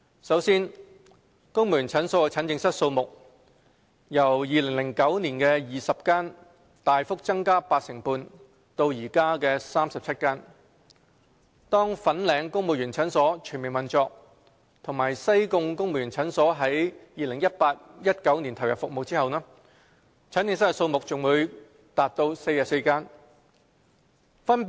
首先，公務員診所的診症室數目由2009年的20間大幅增加八成半至現時的37間；當粉嶺公務員診所全面運作和西貢公務員診所在 2018-2019 年度投入服務後，診症室數目將達44間。